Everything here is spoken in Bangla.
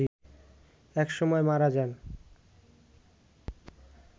এক সময় মারা যান